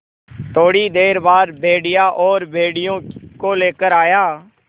थोड़ी देर बाद भेड़िया और भेड़ियों को लेकर आया